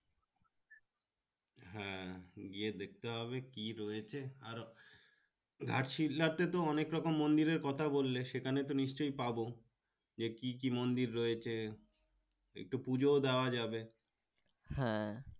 হ্যাঁ গিয়ে দেখতে হবে কি রয়েছে আরো আরছি অনেক রকম মন্দির এর কথা বললে সেখানে তো নিশ্চয় পাবো গিয়ে কি কি মন্দির রয়েছে একটু পুজো দেওয়া যাবে হ্যাঁ